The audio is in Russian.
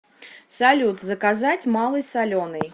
салют заказать малый соленый